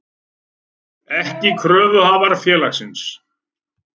ekki kröfuhafar félagsins.